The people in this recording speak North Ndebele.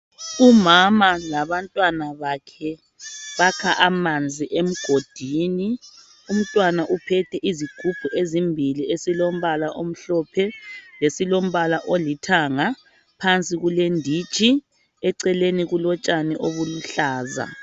Umama labantwana bakhe bakha amanzi emgodini. Unntwana uphethe izigubhu ezimbili esilombala omhlophe lesilombala olithanga. Phansi kulenditshi. Eceleni kulotshani obuluhlaza.